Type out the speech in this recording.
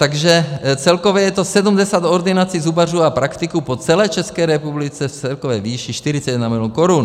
Takže celkově je to 70 ordinací zubařů a praktiků po celé České republice v celkové výši 41 mil. korun.